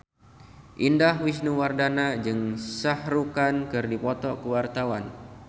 Indah Wisnuwardana jeung Shah Rukh Khan keur dipoto ku wartawan